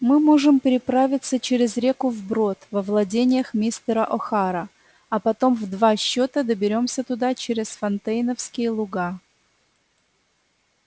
мы можем переправиться через реку вброд во владениях мистера охара а потом в два счета доберёмся туда через фонтейновские луга